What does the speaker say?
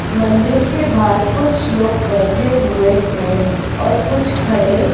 मंदिर के बाहर कुछ लोग बैठे हुए हैं और कुछ खड़े --